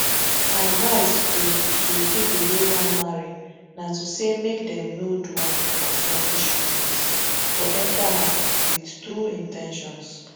my advise to to pipo wey wan marry na say make dem no do am for selfish reasons but enta am wit true in ten tions